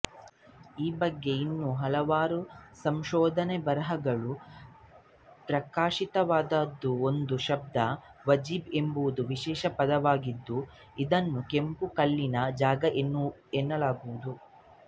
ಈ ಬಗ್ಗೆ ಇನ್ನೂ ಹಲವಾರು ಸಂಶೋಧನಾ ಬರಹಗಳು ಪ್ರಕಾಶಿತವಾದವುಒಂದು ಶಬ್ದ ಒಜಿಬ್ವಾ ಎಂಬುದು ವಿಶಿಷ್ಟ ಪದವಾಗಿದ್ದುಇದನ್ನುಕೆಂಪು ಕಲ್ಲಿನ ಜಾಗಎನ್ನಲಾಗುವುದು